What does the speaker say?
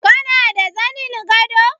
Kana da zanin gado?